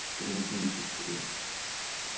как она бесит блять